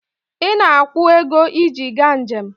Ị na-akwụ ego iji gaa njem